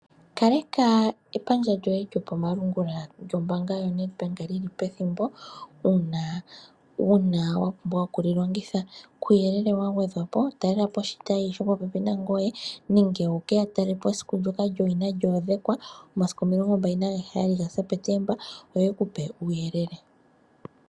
Kaleka epandja lyoye lyokomalungula lyombaanga yoye lyili pethimbo uuna wuna wa pumbwa okuli longitha. Kuuyelele wa gwedhwapo talelapo oshitayi shili popepi nangoye nenge wuke ya talele po esiku lyowina ndoka lyo odhekwa, omasiku 27 Sepetemba 2025 yo yeku pe uuyelele.